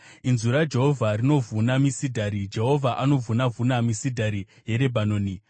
Inzwi raJehovha rinovhuna misidhari, Jehovha anovhuna-vhuna misidhari yeRebhanoni.